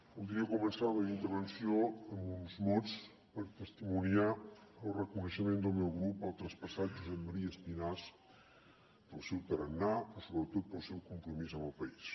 voldria començar la meva intervenció amb uns mots per testimoniar el reconeixement del meu grup al traspassat josep maria espinàs pel seu tarannà però sobretot pel seu compromís amb el país